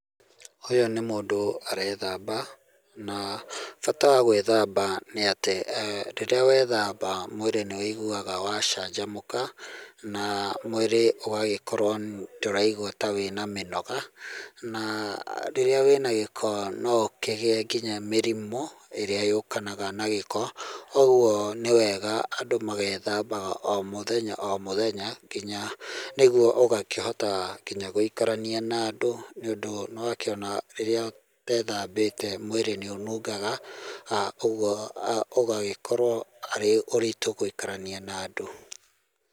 Ũyũ nĩ mũndũ arethamba, na bata wa gwĩthamba nĩ atĩ rĩrĩa wethamba, mwĩrĩ nĩ wũiguaga wacanjamũka, na mwĩrĩ ũgagĩkorwo ndũraigua ta wĩna mĩnoga, na rĩrĩa wĩna gĩko no ũkĩgĩe nginya mĩrimũ ĩrĩa yũkanaga na gĩko, ũguo nĩ wega andũ magethambaga o mũthenya o mũthenya, kinya nĩguo ũgakĩhota kinya gũikarania na andũ nĩũndũ nĩwakĩona rĩrĩa ũtethambĩte mwĩrĩ nĩ ũnungaga, ũguo ũgagĩkorwo arĩ ũritũ gũikarania na andũ.